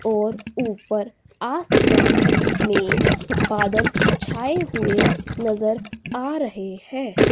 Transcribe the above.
और ऊपर आसमान में बादल छाए हुए नजर आ रहे है।